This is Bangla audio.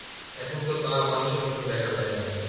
এখনতো তা মানুষের মধ্যে দেখা যায়না